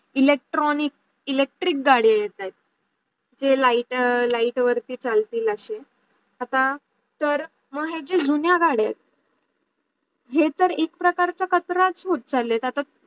electronic electric गाड्या येत आहेत. जे लीगत light वरती चालतील अशे आता तर माग हे जे जुन्या गाडी आहेत, हे तर एक प्रकारचा कचराच होत चाला आहेत आता